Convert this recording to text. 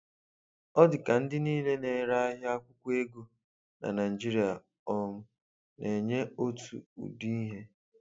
Ọ di ka ndị niile na ere ahia akwụkwo ego na Naijiria um na-enye otu ụdị ihe